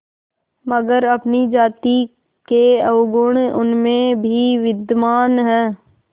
मगर अपनी जाति के अवगुण उनमें भी विद्यमान हैं